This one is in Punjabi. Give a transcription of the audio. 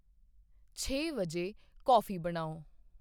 ਛੇ ਵਜੇ ਕੌਫੀ ਬਣਾਉ